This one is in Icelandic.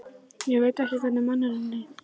Ég veit ekki hvernig manninum leið.